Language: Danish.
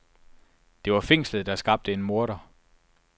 Det var fængslet, der skabte en morder.